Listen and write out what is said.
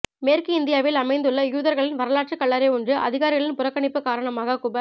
மேற்கு இந்தியாவில் அமைந்துள்ள யூதர்களின் வரலாற்று கல்லறை ஒன்று அதிகாரிகளின் புறக்கணிப்பு காரணமாக குப